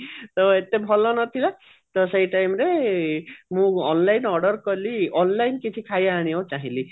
ତ ଏତେ ଭଲ ନଥିଲା ତ ସେଇ time ରେ ମୁଁ online order କଲି online କିଛି ଖାଇବା ଆଣିବାକୁ ଚାହିଁଲି